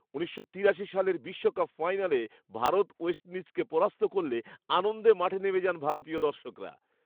উনিশশো তিরাশি সালের বিশ্বকাপ ফাইনালে ভারত ওয়েস্ট ইণ্ডিজকে পরাস্ত করলে আনন্দে মাঠে নেমে যান ভারতীয় দর্শকরা।